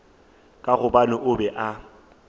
ka gobane o be a